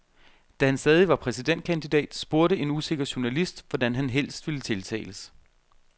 Da han stadig var præsidentkandidat, spurgte en usikker journalist, hvordan han helst ville tiltales.